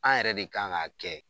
An yɛrɛ de kan ka kɛ